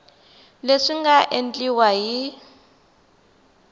leswi swi nga endliwa hi